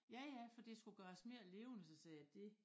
Ja ja for det skulle gøres mere levende så sagde jeg dét